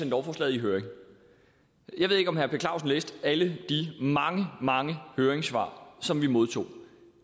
lovforslaget i høring jeg ved ikke om herre per clausen læste alle de mange mange høringssvar som vi modtog